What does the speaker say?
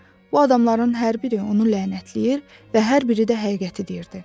Bu adamların hər biri onu lənətləyir və hər biri də həqiqəti deyirdi.